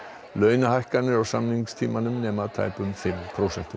launahækkanir á samningstímanum nema tæpum fimm prósentum